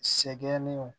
Sɛgɛn ni o